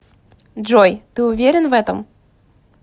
джой ты уверен в этом